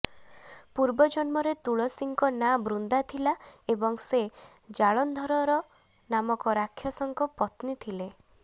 ପୂର୍ବ ଜନ୍ମରେ ତୁଳସୀଙ୍କ ନାଁ ବୃନ୍ଦା ଥିଲା ଏବଂ ସେ ଜାଲନ୍ଧର ନାମକ ରାକ୍ଷସଙ୍କ ପତ୍ନୀ ଥିଲେ